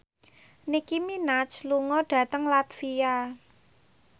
Nicky Minaj lunga dhateng latvia